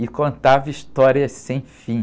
E contava histórias sem fim.